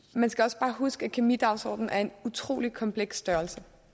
man skal også bare huske at kemidagsordenen er en utrolig kompleks størrelse